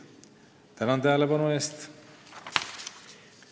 Tänan tähelepanu eest!